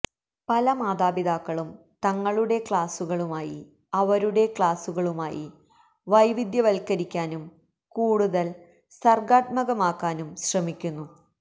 പല മാതാപിതാക്കളും തങ്ങളുടെ ക്ലാസുകളുമായി അവരുടെ ക്ലാസുകളുമായി വൈവിധ്യവത്കരിക്കാനും കൂടുതൽ സർഗ്ഗാത്മകമാക്കാനും ശ്രമിക്കുന്നു